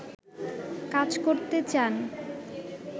কাজ করতে চান